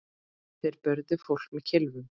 Þeir börðu fólk með kylfum.